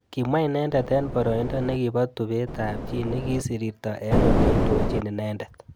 Kimwa inendet eng boroindo nekibo tupet ab chi nekisirirto eng oleondojin inendet.